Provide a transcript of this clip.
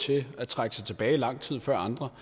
til at trække sig tilbage lang tid før andre